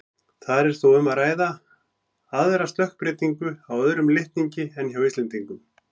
Þar er þó um að ræða aðra stökkbreytingu á öðrum litningi en hjá Íslendingum.